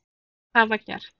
Það var gert.